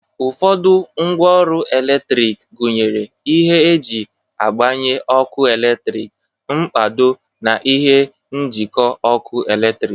Ụfọdụ ngwa ọrụ eletrik gunyere ihe e ji agbanye ọkụ eletrik, mkpado, na ihe njịkọ ọkụ eletrik